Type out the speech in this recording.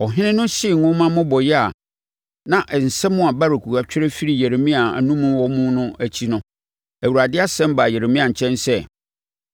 Ɔhene no hyee nwoma mmobɔeɛ a na nsɛm a Baruk twerɛ firii Yeremia anom wɔ mu no akyi no, Awurade asɛm baa Yeremia nkyɛn sɛ,